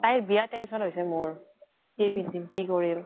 তাইৰ বিয়া tension হৈছে মোৰ, কি পিন্ধিম কি কৰিম।